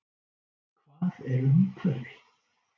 Hvað er umhverfi?